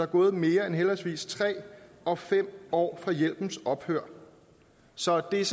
gået mere end henholdsvis tre år og fem år fra hjælpens ophør så det er